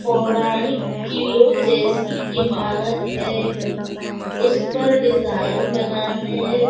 पौराणिक किल्लो जैसी इमारत है उसपर डिजाइन बना है।